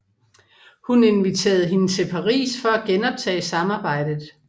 Hun inviterede hende til Paris for at genoptage samarbejdet